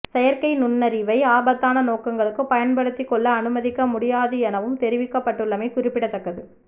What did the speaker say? செயற்கை நுண்ணறிவை ஆபத்தான நோக்கங்களுக்கு பயன்படுத்திக் கொள்ள அனுமதிக்க முடியாது எனவும் தெரிவிக்கப்பட்டுள்ளமை குறிப்பிடத்தக்கது